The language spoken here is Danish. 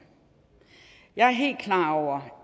jeg er helt klar over